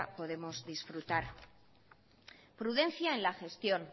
podemos disfrutar prudencia en la gestión